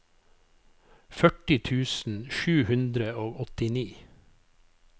førti tusen sju hundre og åttini